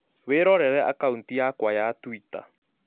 Wĩrorere akaunti yakwa ya tũita